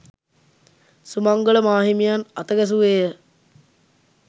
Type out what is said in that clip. සුමංගල මාහිමියන් අතගැසුවේය